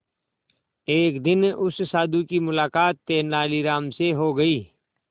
एक दिन उस साधु की मुलाकात तेनालीराम से हो गई